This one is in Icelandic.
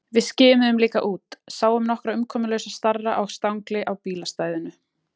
Við skimuðum líka út, sáum nokkra umkomulausa starra á stangli á bílastæðinu.